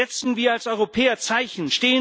Setzen wir als Europäer Zeichen!